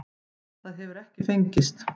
Það hefur ekki fengist.